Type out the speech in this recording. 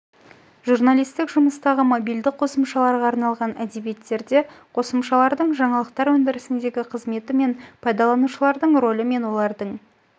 журналистік жұмыстағы мобильді қосымшаларға арналған әдебиеттерде қосымшалардың жаңалықтар өндірісіндегі қызметі мен пайдаланушылардың рөлі мен олардың